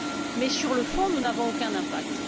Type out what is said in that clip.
Mais, sur le fond, nous n'avons aucun impact.